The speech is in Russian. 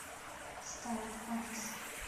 старт адрес